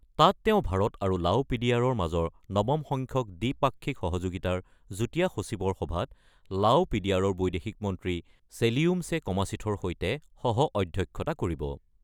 তাত তেওঁ ভাৰত আৰু -ৰ মাজৰ নৱম সংখ্যক দ্বিপাক্ষিক সহযোগিতাৰ যুটীয়া সচিবৰ সভাত -ৰ বৈদেশিক মন্ত্ৰী চেলিয়ুম্চে কমাচিথৰ সৈতে সহ অধ্যক্ষতা কৰিব।